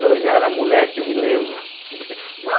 Eu já era moleque, eu me lembro.